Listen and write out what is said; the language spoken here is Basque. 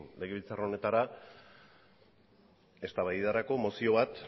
legebiltzar honetara eztabaidarako mozio bat